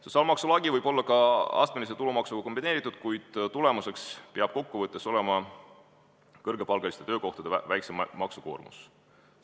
Sotsiaalmaksu lagi võib olla ka astmelise tulumaksuga kombineeritud, kuid tulemuseks peab kokku võttes olema kõrgepalgaliste töökohtade väiksem maksukoormus.